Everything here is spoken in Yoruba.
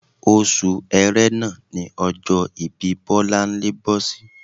Oṣù ẹrẹ́nà ní ọjọ́ ìbí Bọlá bọ́ sí